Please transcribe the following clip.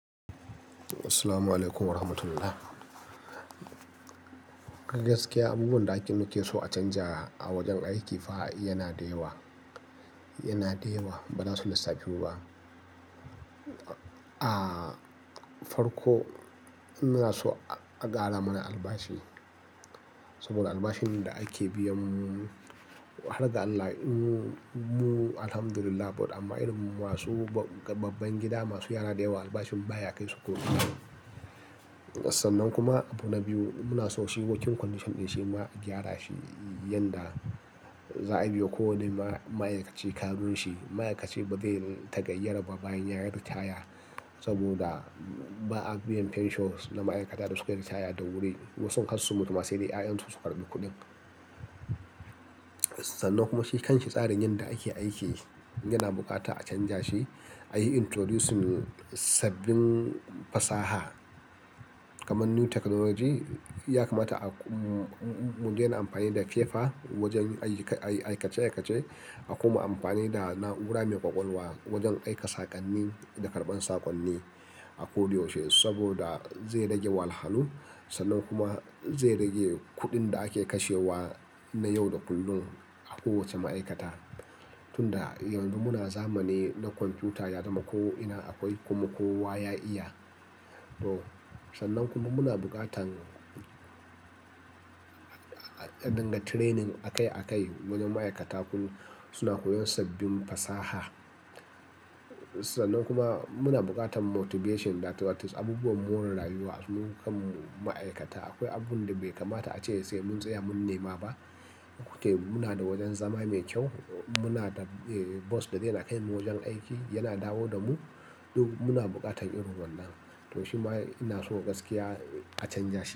Assalamu alaikum wa rahmatullah. A gaskiya, abubuwan da ake nikeso a canja a wajen aiki fa yana da yawa. Yana da yawa, ba za su lissafu ba. Ah, farko muna so a ƙara mana albashi saboda albashin da ake biyan mu har ga Allah, mu, mu Alhamdulillah, but amma irin masu babban gida masu yara da yawa albashin baya kai su ko ina. Sannan kuma abu na biyu, muna so shi wokin kwandishan shi ma a gyara shi, yanda za a biwa ko wane ma'aikaci ƙarin shi. Ma'aikaci ba zai ta-gayyara ba bayan ya yi ritaya saboda ba a biyan fensho na ma'aikata da sukai ritaya da wuri. Wasu sun har su mutu ma, sai dai 'ya'yansu su karbi kuɗin. Sannan kuma shi kan shi tsarin yanda ake aiki yana buƙata a canja shi. A yi introducing sabbin fasaha kamar new technology. Ya kamata a, mu, mu daina amfani da fefa wajen aiki, aikace aikace a koma amfani da na'ura mai ƙwaƙwalwa wajen aika saƙonni da karɓar saƙonni a koda yaushe saboda zai rage wahalhalu sannan kuma zai rage kuɗin da ake kashewa na yau da kullum a kowace ma'aikata. Tunda yanzu muna zamani na kwamfuta, ya zama ko ina akwai, kuma kowa ya iya. To sannan kuma muna buƙatan dinga training akai akai wajen ma'aikata suna koyon sabbin fasaha. Sannan kuma muna buƙatan motivation that is abubuwan more rayuwa. Mu kanmu ma'aikata akwai abun da bai kamata ace sai mun tsaya mun nema ba. Mu ke muna da wajen zama mai kyau, muna da bus da dai na kai mu wajen aiki, yana dawo da mu. Duk muna buƙatan irin wannan. To shi ma ina so gaskiya a canja shi.